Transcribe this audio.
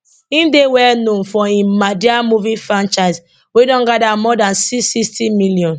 im dey well known for im madea movie franchise wey don gada more dan six sixty million